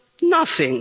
Nothing.